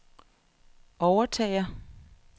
overtager